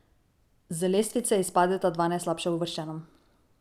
Z lestvice izpadeta dva najslabše uvrščena.